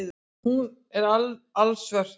Hún er ekki alsvört.